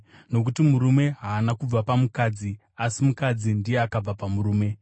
Nokuti murume haana kubva pamukadzi, asi mukadzi ndiye akabva pamurume;